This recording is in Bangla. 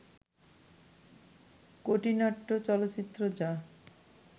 কটি নাট্য চলচ্চিত্র যা